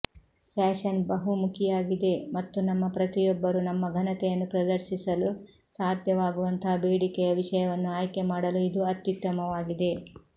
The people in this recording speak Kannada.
ಫ್ಯಾಶನ್ ಬಹುಮುಖಿಯಾಗಿದೆ ಮತ್ತು ನಮ್ಮ ಪ್ರತಿಯೊಬ್ಬರು ನಮ್ಮ ಘನತೆಯನ್ನು ಪ್ರದರ್ಶಿಸಲು ಸಾಧ್ಯವಾಗುವಂತಹ ಬೇಡಿಕೆಯ ವಿಷಯವನ್ನು ಆಯ್ಕೆ ಮಾಡಲು ಇದು ಅತ್ಯುತ್ತಮವಾಗಿದೆ